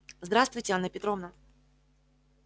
здравствуйте анна петровна